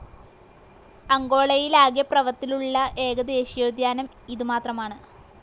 അങ്കോളയിലാകെ പ്രവർത്തിലുള്ള ഏക ദേശീയോദ്യാനം ഇതു മാത്രമാണ്.